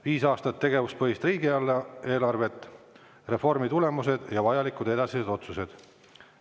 Viis aastat tegevuspõhist riigieelarvet: reformi tulemused ja vajalikud edasised otsused.